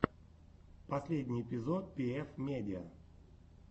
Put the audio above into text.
последний эпизод пиэф медиа